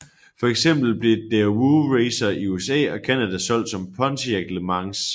For eksempel blev Daewoo Racer i USA og Canada solgt som Pontiac LeMans